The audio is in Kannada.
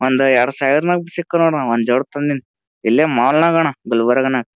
ಒಂದ್ ಎರಡ್ ಸಾವಿರ ಸಿಕ್ಕನೂಡಣ ಒಂದ್ ಜೋಡ ತಂದಿನಿ ಇಲ್ಲೇ ಮಾಲ್ ನಾಗಣ ಗುಲ್ಬರ್ಗ್ನಗ್.